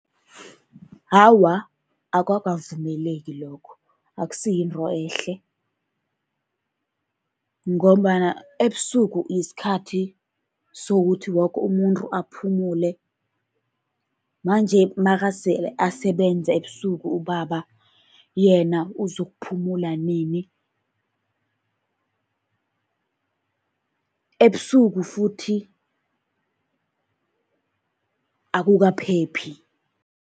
Awa, akukavumeleki lokho, akusi yinto ehle. Ngombana ebusuku isikhathi sokuthi woke umuntu aphumuule, manje nakasele asebenza ebusuku ubaba, yena uzokuphumelela nini. Ebusuku futhi akukaphephi.